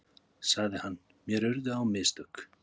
sagði hann, mér urðu á mistök.